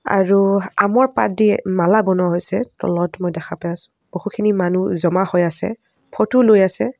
আৰু আমৰ পাতদি মালা বনোৱা হৈছে তলত মই দেখা পাই আছো বহুখিনি মানুহ জমা হৈ আছে ফটো লৈ আছে।